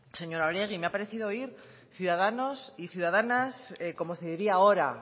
señora oregi me ha parecido oír ciudadanos y ciudadanas como se diría ahora